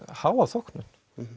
háa þóknun